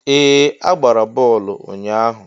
Ee! A gbara bọọlụ ụnyahụ.